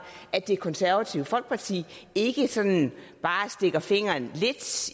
at det konservative folkeparti ikke sådan bare stikker fingeren lidt